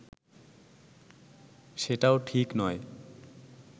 সেটাও ঠিক নয়